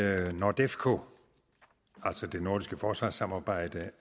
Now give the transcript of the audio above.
at nordefco altså det nordiske forsvarssamarbejde